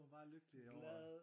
Hun var bare lykkelig over